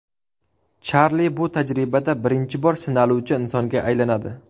Charli bu tajribada birinchi bor sinaluvchi insonga aylanadi.